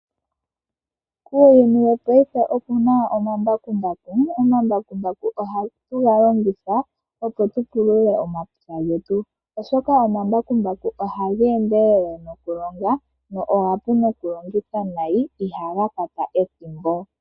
Uuyuni wopaife okuna omambakumbaku. Omambakumbaku ohatu galongitha opo tupulule omapya getu, oshoka omambakumbaku oha gendelele noku longa go omapu nokulongithwa nayi, iha gakwata ethimbo.